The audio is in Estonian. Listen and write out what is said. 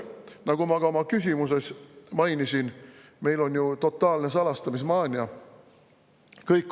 Nagu ma ka oma küsimuses mainisin, meil on ju totaalne salastamismaania.